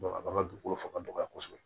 a b'an ka dugukolo faga dɔgɔya kosɛbɛ